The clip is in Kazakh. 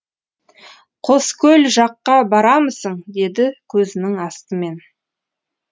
қоскөл жаққа барамысың деді көзінің астымен